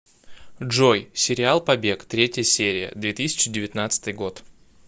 джой сериал побег третья серия две тысячи девятнадцатый год